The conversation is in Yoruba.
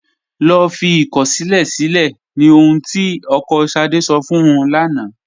Lọ́ fí ikọ̀ṣílẹ̀ silẹ̀ ní ọ̀hun tí ọkọ́ Ṣádé sọ̀ fún ún lána.